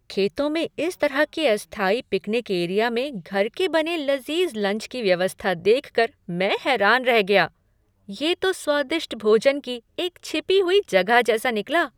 खेतों में इस तरह के अस्थायी पिकनिक एरिया में घर के बने लज़ीज़ लंच की व्यवस्था देख कर मैं हैरान रह गया। ये तो स्वादिष्ट भोजन की एक छिपी हुई जगह जैसा निकला!